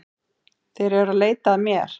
Þeir eru að leita að mér